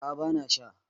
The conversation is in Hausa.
a ' a bana Sha